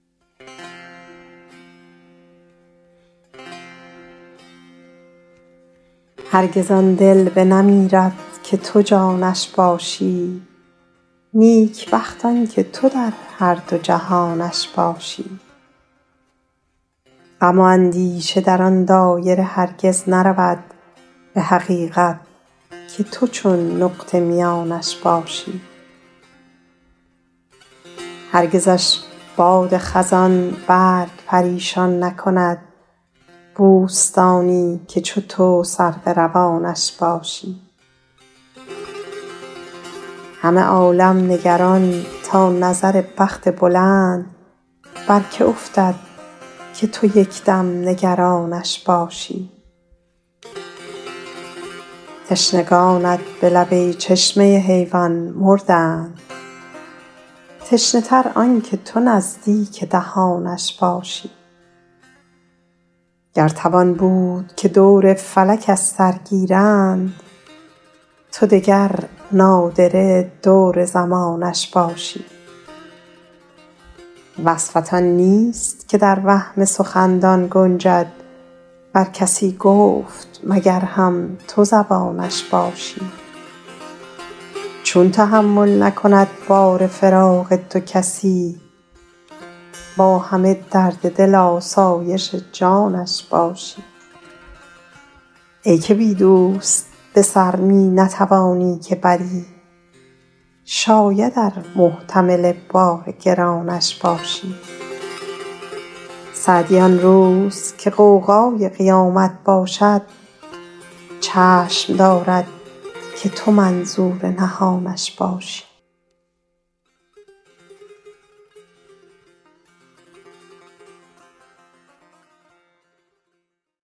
هرگز آن دل بنمیرد که تو جانش باشی نیکبخت آن که تو در هر دو جهانش باشی غم و اندیشه در آن دایره هرگز نرود به حقیقت که تو چون نقطه میانش باشی هرگزش باد صبا برگ پریشان نکند بوستانی که چو تو سرو روانش باشی همه عالم نگران تا نظر بخت بلند بر که افتد که تو یک دم نگرانش باشی تشنگانت به لب ای چشمه حیوان مردند تشنه تر آن که تو نزدیک دهانش باشی گر توان بود که دور فلک از سر گیرند تو دگر نادره دور زمانش باشی وصفت آن نیست که در وهم سخندان گنجد ور کسی گفت مگر هم تو زبانش باشی چون تحمل نکند بار فراق تو کسی با همه درد دل آسایش جانش باشی ای که بی دوست به سر می نتوانی که بری شاید ار محتمل بار گرانش باشی سعدی آن روز که غوغای قیامت باشد چشم دارد که تو منظور نهانش باشی